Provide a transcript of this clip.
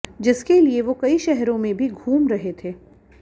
जिसके लिए वो कई शहरों में भी घूम रहे थे